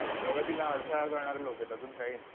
प्रगतीला अडथळा करणारी लोकं आहेत. अजून काही नाही.